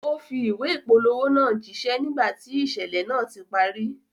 Ó fi ìwé ìpolówó náà jíṣẹ́ nígbà tí ìṣẹ̀lẹ̀ náà ti parí